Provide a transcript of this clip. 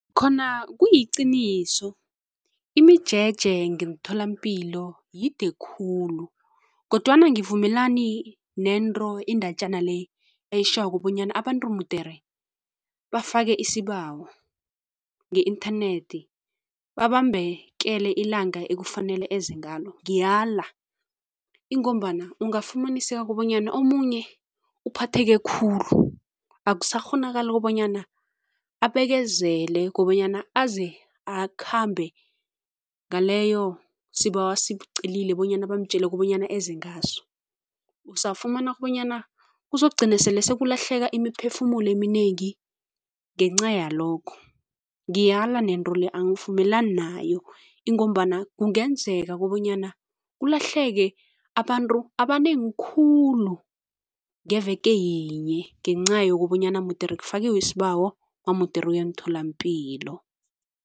Khona kuyiqiniso. Imijeje ngemtholampilo yide khulu kodwana angivumelani nento iindatjana le eyitjhoko bonyana abantu mudere bafake isibawo nge-inthanethi babambekele ilanga ekufanele eze ngalo. Ngiyala, ingombana ungafumanaseka kobanyana omunye uphatheke khulu akusakghonakali kobanyana abekezele kobanyana aze akhambe ngaleyo sibawo asicelile bonyana bamtjele kobanyana eze ngaso Uzafumana kobanyana uzokugcina sele sekulahleka imiphefumulo eminengi ngenca yalokhu. Ngiyala nento le, angivumelani nayo ingombana kungenzeka kobanyana kulahleke abantu abanengi khulu ngeveke yinye ngenca yokobanyana mudere kufakiwe isibawo namudere uye emtholampilo.